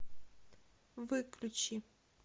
выключи